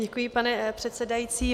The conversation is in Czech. Děkuji, pane předsedající.